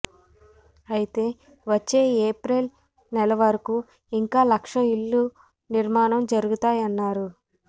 అయితే వచ్చే ఏప్రియల్ నెల వరకూ ఇంకా లక్షా ఇళ్ళు నిర్మాణం జరుగుతాయన్నారు